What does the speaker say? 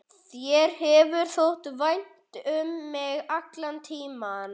Þér hefur þótt vænt um mig allan tímann.